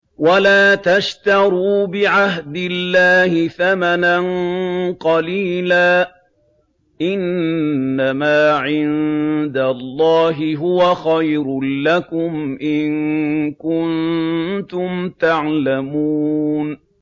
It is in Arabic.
وَلَا تَشْتَرُوا بِعَهْدِ اللَّهِ ثَمَنًا قَلِيلًا ۚ إِنَّمَا عِندَ اللَّهِ هُوَ خَيْرٌ لَّكُمْ إِن كُنتُمْ تَعْلَمُونَ